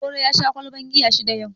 Okoro ya sha ƙwalban giya shida yau